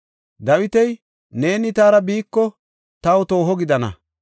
Dawiti, “Neeni taara biiko taw tooho gidana.